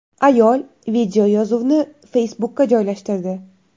Ayol videoyozuvni Facebook’ga joylashtirdi .